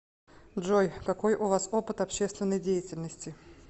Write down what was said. джой какой у вас опыт общественной деятельности